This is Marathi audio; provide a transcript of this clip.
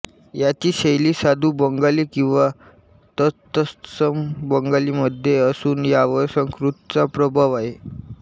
याची शैली साधू बंगाली किंवा तत्सम बंगालीमध्ये असून यावर संस्कृतचा प्रभाव आहे